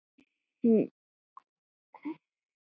Hún trúði alltaf á mig.